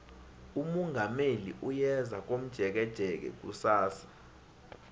umongameli uyeza komjekejeke kusasa